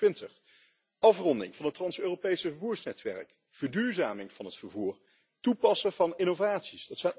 2020. Afronding van het trans Europese vervoersnetwerk, verduurzaming van het vervoer, toepassen van innovaties.